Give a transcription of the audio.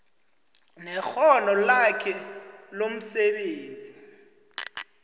nekghono lakhe lomsebenzi